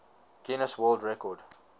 guinness world record